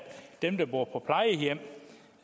dem der bor på plejehjem og